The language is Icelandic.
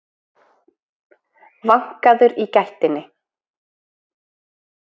vankaður í gættinni.